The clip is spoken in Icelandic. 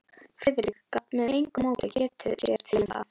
Friðrik gat með engu móti getið sér til um það.